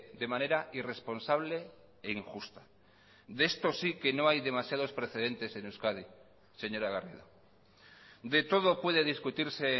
de manera irresponsable e injusta de esto sí que no hay demasiados precedentes en euskadi señora garrido de todo puede discutirse